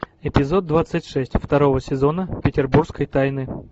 эпизод двадцать шесть второго сезона петербургской тайны